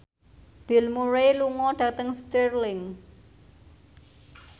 Bill Murray lunga dhateng Stirling